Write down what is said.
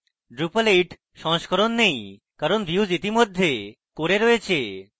drupal 8 version সংস্করণ নেই কারণ views ইতিমধ্যে core এ রয়েছে